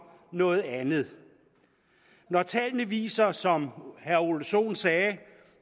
noget andet når tallene viser som herre ole sohn sagde